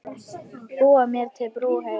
Búa mér til brú heim.